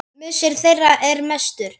Missir þeirra er mestur.